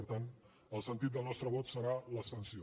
per tant el sentit del nostre vot serà l’abstenció